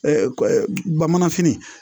bamananfini